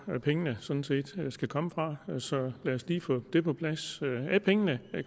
pengene sådan set skal komme fra så lad os lige få det på plads er pengene